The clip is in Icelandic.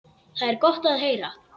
Það er gott að heyra.